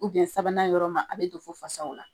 Ubiyɛn sabanan yɔrɔ ma a be don fɔ fasaw la